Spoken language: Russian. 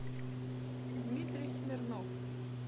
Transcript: дмитрий смирнов